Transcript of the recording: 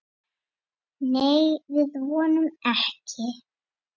Nei, við vonum ekki.